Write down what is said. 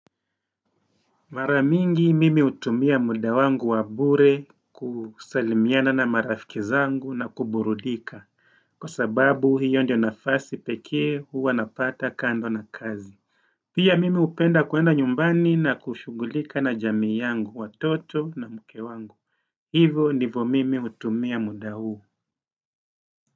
Mara mingi mimi hutumia muda wangu wa bure kusalimiana na marafiki zangu na kuburudika. Kwa sababu hiyo ndio nafasi pekee huwa napata kando na kazi Pia mimi hupenda kuenda nyumbani na kushughulika na jamii yangu watoto na mke wangu Hivo ndivo mimi hutumia muda huu.